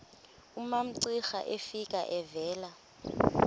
umamcira efika evela